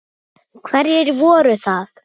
Skipi róið yfir fjörð.